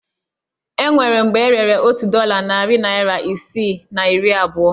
O nwere mgbe e rere otu dọla narị naira isii na iri abụọ